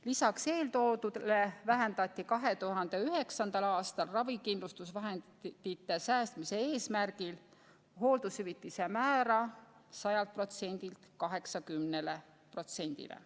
Lisaks eeltoodule vähendati 2009. aastal ravikindlustusvahendite säästmise eesmärgil hooldushüvitise määra 100%-lt 80%-le.